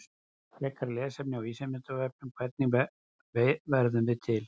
Frekara lesefni á Vísindavefnum: Hvernig verðum við til?